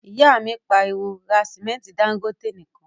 ìyá mi pariwo, 'ra sìmẹ́ntí Dangote nìkan'